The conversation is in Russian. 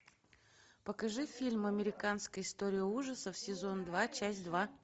покажи фильм американская история ужасов сезон два часть два